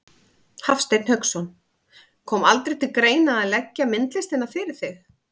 Hafsteinn Hauksson: Kom aldrei til greina að leggja myndlistina fyrir þig?